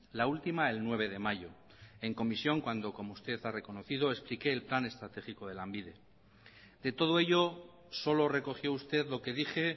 la última el nueve de mayo en comisión cuando como usted ha reconocido explique el plan estratégico de lanbide de todo ello solo recogió usted lo que dije